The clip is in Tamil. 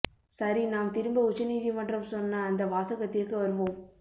சரி நாம் திரும்ப உச்ச நீதிமன்றம் சொன்ன அந்த வாசகத்திற்கு வருவோம்